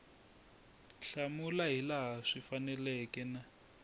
hlamula hilaha swi faneleke na